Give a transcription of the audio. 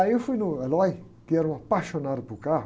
Aí eu fui no, que era um apaixonado por carro.